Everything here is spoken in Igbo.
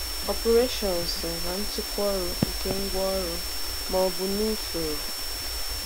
Ọpụreshionsu na Nchịkwa ọrụ nke ngwaọrụ ma ọ bụ na usoro.